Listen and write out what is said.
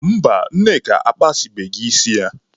Mba, Nneka akpasịbeghị isi ya.